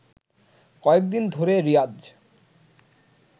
কয়েকদিন ধরে রিয়াজ